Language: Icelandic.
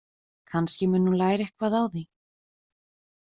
Kannski mundi hún læra eitthvað á því.